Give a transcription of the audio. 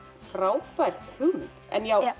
frábær hugmynd en